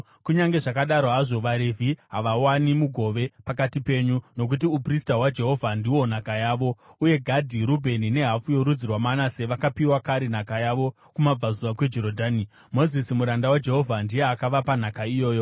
Kunyange zvakadaro hazvo, vaRevhi havawani mugove pakati penyu, nokuti uprista hwaJehovha ndihwo nhaka yavo. Uye Gadhi, Rubheni nehafu yorudzi rwaManase vakapiwa kare nhaka yavo kumabvazuva kweJorodhani. Mozisi muranda waJehovha ndiye akavapa nhaka iyoyo.”